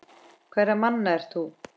Hverra manna ert þú?